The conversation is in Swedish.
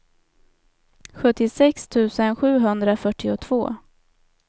sjuttiosex tusen sjuhundrafyrtiotvå